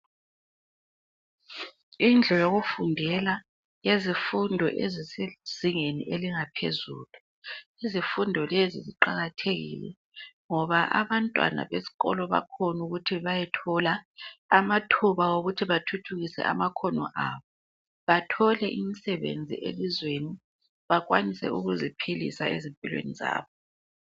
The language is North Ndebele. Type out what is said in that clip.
Indlu yokufundela yezifundo esisezingeni elingaphezulu. Izifundo lezi ziqakathekile ngoba abantwana besikolo bakhona ukuthi bayethola amathuba okuthi bathuthukise amakhono abo bathole imisebenzi elizweni bakwanise ukuziphilisa ezimpilweni zabo.